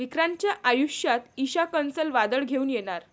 विक्रांतच्या आयुष्यात ईशा कसलं वादळ घेऊन येणार?